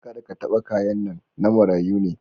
Kada ka taba kayan nan, na marayu ne.